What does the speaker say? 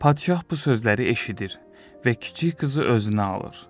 Padşah bu sözləri eşidir və kiçik qızı özünə alır.